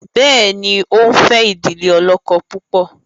béèni o nfe idile olókó púpọ?